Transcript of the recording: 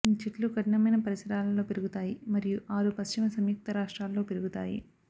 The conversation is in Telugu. ఈ చెట్లు కఠినమైన పరిసరాలలో పెరుగుతాయి మరియు ఆరు పశ్చిమ సంయుక్త రాష్ట్రాలలో పెరుగుతాయి